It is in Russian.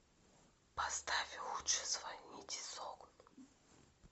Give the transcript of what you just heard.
поставь лучше звоните солу